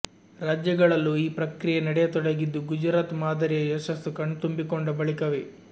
ರಾಜ್ಯಗಳಲ್ಲೂ ಈ ಪ್ರಕ್ರಿಯೆ ನಡೆಯತೊಡಗಿದ್ದು ಗುಜರಾತ್ ಮಾದರಿಯ ಯಶಸ್ಸು ಕಣ್ತುಂಬಿಕೊಂಡ ಬಳಿಕವೇ